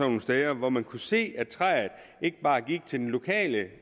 nogle steder hvor man kunne se at træet ikke bare gik til den lokale